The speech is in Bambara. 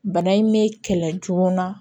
Bana in mɛ kɛlɛ joona